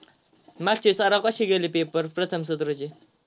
मागचे सराव कसे गेले paper प्रथम सत्राचे?